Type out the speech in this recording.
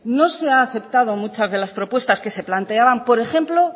no se ha aceptado muchas de las propuestas que se planteaban por ejemplo